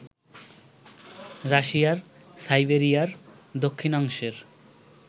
রাশিয়ার সাইবেরিয়ার দক্ষিণাংশের